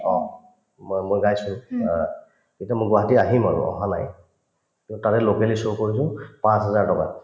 অ, মই মই গাইছো অ তেতিয়া মই গুৱাহাটী আহিম আৰু অহা নাই to তাৰে locally show কৰিলো পাঁচহাজাৰ টকাত